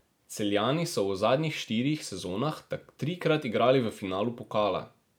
Celjani so v zadnjih štirih sezonah trikrat igrali v finalu pokala.